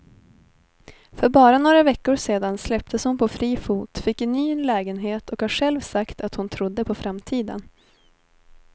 För bara några veckor sedan släpptes hon på fri fot, fick en ny lägenhet och har själv sagt att hon trodde på framtiden.